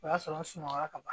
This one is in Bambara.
O y'a sɔrɔ n sunɔgɔ ka ban